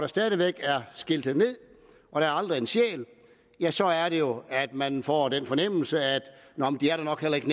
stadig væk er skiltet ned og der aldrig er en sjæl så er det jo at man får den fornemmelse at de nok heller ikke